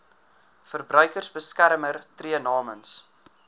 verbruikersbeskermer tree namens